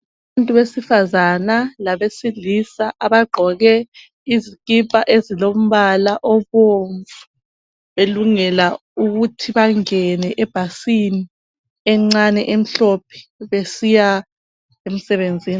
Abantu besifazana labelisilisa abagqoke izikipha ezilombala obomvu, belungela ukuthi bangene ebhasini encane emhlophe besiya emsebenzini.